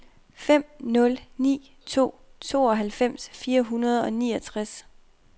fem nul ni to tooghalvfems fire hundrede og syvogtres